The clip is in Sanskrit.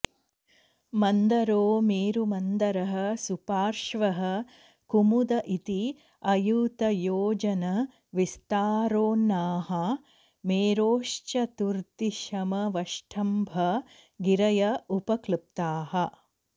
मन्दरो मेरुमन्दरः सुपार्श्वः कुमुद इति अयुतयोजन विस्तारोन्नाहा मेरोश्चतुर्दिशमवष्टम्भ गिरय उपकॢप्ताः